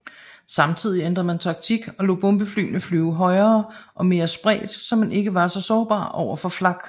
Samtidig ændrede man taktik og lod bombeflyene flyve højere og mere spredt så man ikke var så sårbar overfor flak